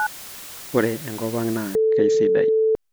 ore enkop ang naa kasidai